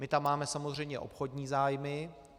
My tam máme samozřejmě obchodní zájmy.